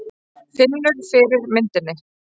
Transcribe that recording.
Finnur fyrir myndinni.